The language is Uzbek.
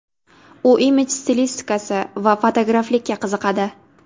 U imij stilistikasi va fotograflikka qiziqadi.